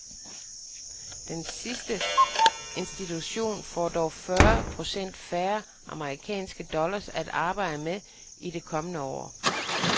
Den sidste institution får dog fyrre procent færre amerikanske dollars at arbejde med i det kommende år.